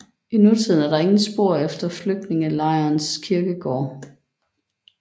I nutiden er der ingen spor efter flygtningelejrens kirkegård